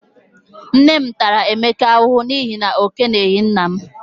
Nne m tara Emeka ahụhụ n'ihi na ọ keleghi nna m.